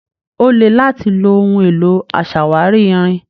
Ó le láti lo ohun èlò aṣàwárí irin.